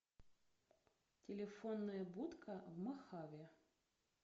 телефонная будка в мохаве